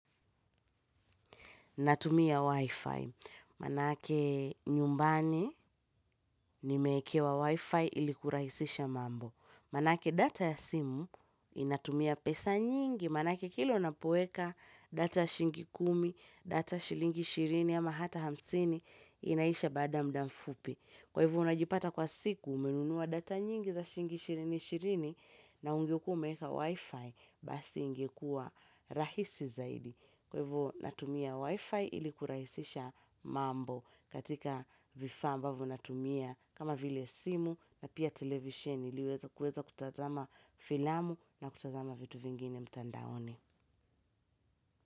Natumia Wi-Fi. Manake nyumbani nimeekewa Wi-Fi ili kurahisisha mambo. Manake data ya simu inatumia pesa nyingi. Manake kila unapoweka data shiingi kumi, data shilingi shirini ama hata hamsini inaisha bada mda mfupi. Kwa hivo unajipata kwa siku umenunua data nyingi za shiingi ishirini ishirini na ungekuwa umeeka Wi-Fi basi ingekua rahisi zaidi. Kwaivo natumia wifi ili kuraisisha mambo katika vifaa ambavo natumia kama vile simu na pia televisheni iliweza kuweza kutazama filamu na kutazama vitu vingine mtandaoni.